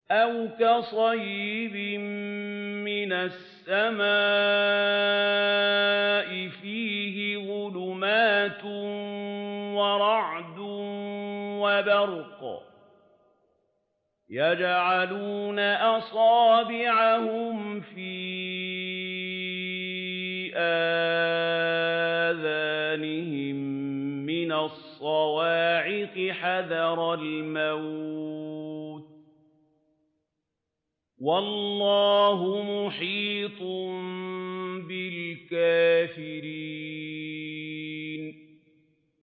أَوْ كَصَيِّبٍ مِّنَ السَّمَاءِ فِيهِ ظُلُمَاتٌ وَرَعْدٌ وَبَرْقٌ يَجْعَلُونَ أَصَابِعَهُمْ فِي آذَانِهِم مِّنَ الصَّوَاعِقِ حَذَرَ الْمَوْتِ ۚ وَاللَّهُ مُحِيطٌ بِالْكَافِرِينَ